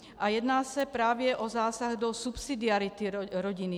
A jedná se právě o zásah do subsidiarity rodiny.